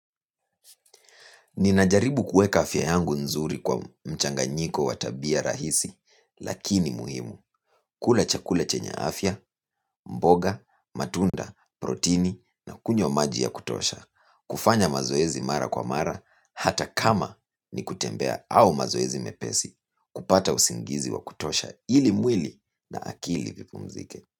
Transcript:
Ninajaribu kuweka afya yangu nzuri kwa mchanganyiko wa tabia rahisi lakini muhimu. Kula chakula chenye afya, mboga, matunda, protini na kunywa maji ya kutosha. Kufanya mazoezi mara kwa mara hata kama ni kutembea au mazoezi mepesi kupata usingizi wa kutosha ili mwili na akili vipumzike.